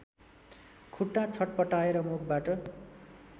खुट्टा छटपटाएर मुखबाट